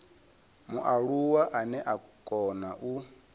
mualuwa ane a kona u